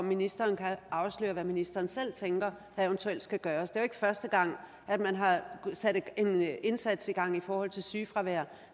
ministeren afsløre hvad ministeren selv tænker der eventuelt skal gøres det er jo ikke første gang at man har sat en indsats i gang i forhold til sygefravær